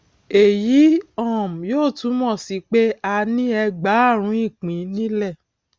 èyí um yóò túmọ sí pé a ní ẹgbààrún ìpín nílẹ